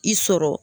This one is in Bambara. I sɔrɔ